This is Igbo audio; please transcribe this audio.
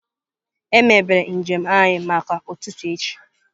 Emebere njem anyị maka ụtụtụ echi.